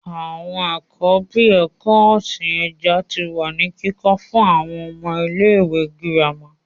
Àwọn ẹ̀kọ́ bíi ẹ̀kọ́ ọ̀sìn ẹja tí wá ní kíkọ́ fún àwọn ọmọ ní ilé ìwé gírámà